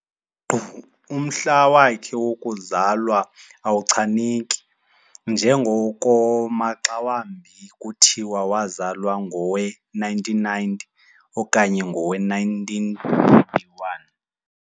Nkqu umhla wakhe wokuzalwa awuchaneki njengoko maxawambi kuthiwa wazalwa ngowe-1919 okanye ngowe-1921.